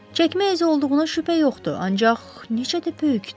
Çəkmə izi olduğuna şübhə yoxdur, ancaq neçə də böyükdür.